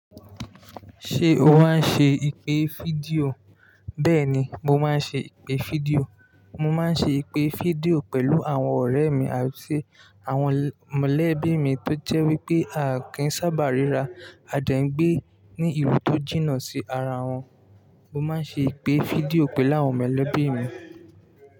Ṣé o máa ń ṣe ìpè fídíò? Bẹ́ẹ̀ni, mo máa ń ṣe ìpè fídíò. Mo máa ń ṣe ìpè fídíò pẹ̀lú àwọn ọ̀rẹ́ mi àti àwọn mọ̀lẹ́bí mi tó jẹ́ wí pé a kìí sábà ríra, a de n gbé ní ibi tó jìnnà sí ara wọn. Mo máa ń ṣe ìpè fídíò pẹ̀lú àwọn mọ̀lẹ́bí mi.